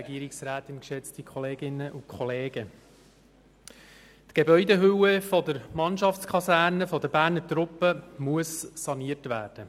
der BaK. Die Gebäudehülle der Mannschaftskaserne der Berner Truppen muss saniert werden.